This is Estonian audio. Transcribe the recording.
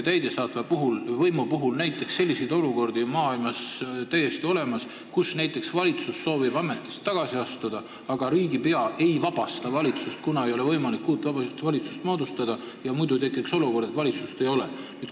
Täidesaatva võimu puhul on maailmas olnud selliseid olukordi, kus näiteks valitsus soovib ametist tagasi astuda, aga riigipea ei vabasta teda ametist, kuna uut valitsust ei ole võimalik moodustada ja tekiks olukord, kus valitsust ei ole.